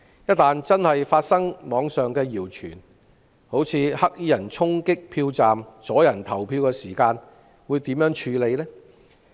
一旦網上的謠傳成真，例如有黑衣人衝擊票站，阻人投票，當局會如何處理？